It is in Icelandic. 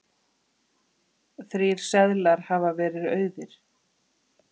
Þrír seðlar hafi verið auðir.